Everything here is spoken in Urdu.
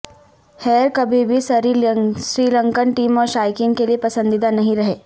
ہیئر کبھی بھی سری لنکن ٹیم اور شائقین کے لیئے پسندیدہ نہیں رہے